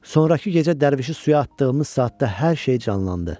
Sonrakı gecə dərvişi suya atdığımız saatda hər şey canlandı.